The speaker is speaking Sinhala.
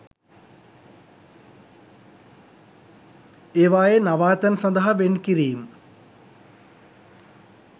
ඒවායේ නවාතැන් සඳහා වෙන් කිරීම්